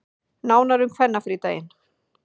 Nánar um kvennafrídaginn